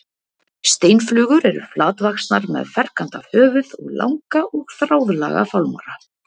Steinflugur eru flatvaxnar með ferkantað höfuð og langa og þráðlaga fálmara.